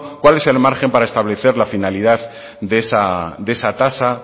cuál es el margen para establecer la finalidad de esa tasa